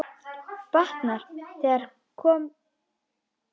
Batnar, þegar komum nær landi.